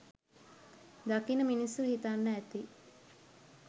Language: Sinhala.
දකින මිනිස්සු හිතන්න ඇති